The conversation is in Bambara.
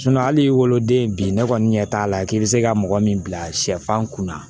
hali woloden bi ne kɔni ɲɛ t'a la k'i bɛ se ka mɔgɔ min bila sɛfan kun na